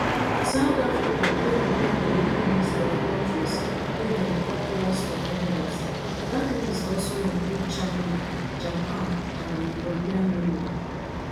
south africa dey among di long list of kontris wey dem call worst offenders dat list also include china japan and di european union